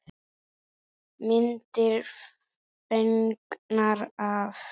Myndir fengnar af